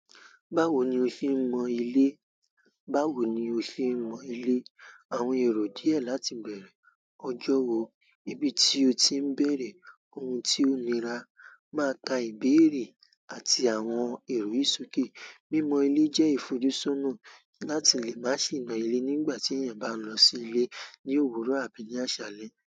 Báwo ni o ṣe mọ ilé? Báwo ni o ṣe mọ ilé? Àwọn èrò díẹ̀ láti bẹ̀rẹ̀, ọjọ́ wo ibi tí o ti ń bẹ̀rẹ̀, ohun tí o nira máa ka ìbéèrè àti àwọn èrò yì sòké. Mímọ ilé jẹ́ ìfojúsọnà láti lè má sì nà ilé nígbà tí èèyàn bá ń lọ sí ilé ní òwúrọ̀ àbí ní àṣálẹ́.